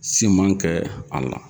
Siman kɛ a la